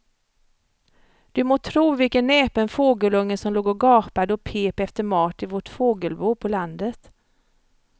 Du må tro vilken näpen fågelunge som låg och gapade och pep efter mat i vårt fågelbo på landet.